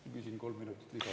Ma küsin kolm minutit lisaaega.